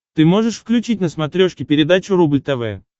ты можешь включить на смотрешке передачу рубль тв